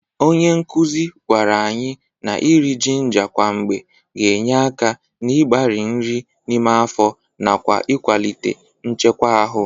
Onye nkụzị gwara anyị na iri jinga kwa mgbe ga-enye aka n'ịgbarị nri n'ime afọ nakwa ịkwalite nchekwa ahụ.